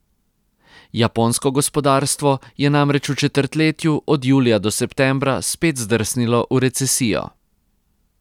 Japonsko gospodarstvo je namreč v četrtletju od julija do septembra spet zdrsnilo v recesijo.